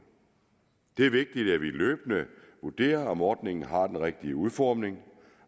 det er vigtigt at vi løbende vurderer om ordningen har den rigtige udformning